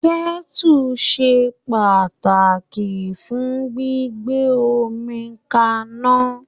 Kẹ̀tú se pàtàkì fún gbígbé omi k'aná.